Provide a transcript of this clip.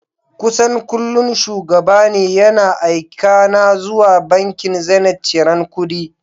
Kusan kullum Shugaba ne yana aika na zuwa bankin Zenith ciran kuɗi.